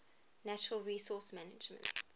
natural resource management